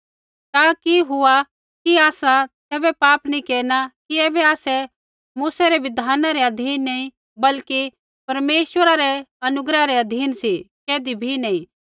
ता कि हुआ कि आसा तैबै पाप केरना कि ऐबै आसै मूसै री बिधान रै अधीन नैंई बल्कि परमेश्वरा रै अनुग्रह रै अधीन सी कैधी बी नैंई